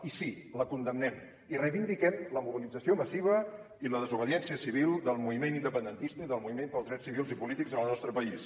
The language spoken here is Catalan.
i sí la condemnem i reivindiquem la mobilització massiva i la desobediència civil del moviment independentista i del moviment pels drets civils i polítics en el nostre país